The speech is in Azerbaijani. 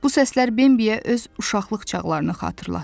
Bu səslər Bembiyə öz uşaqlıq çağlarını xatırlatdı.